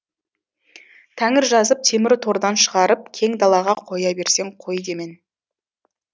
тәңір жазып темір тордан шығарып кең далаға қоя берсең қой демен